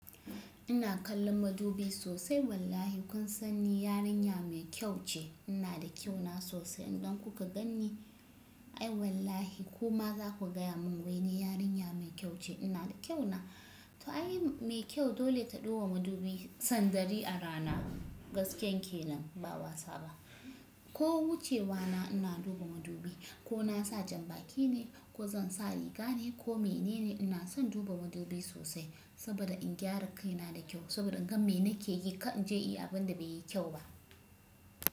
Ina kallon madubi sosai wallahi kun sani yarinya mai kyau ce. Ina da kyau na sosai idan kuka gani ai wallahi kuma za ku gaya mun wai ne yarinya mai kyau ce. Ina da kyau na, to ai mai kyau dole ta duba madubi san dari a rana gasken kenan ba wasa ba. Ko wucewa na ina duba madubi ko na sa jan baki ne ko zan sa riga ne ko mene ne ina son duba madubi sosai saboda in gyara kaina da kyau saboda in gan mene ke yi ka in je yi abin da bai yi kyau ba.